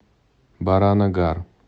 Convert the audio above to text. баранагар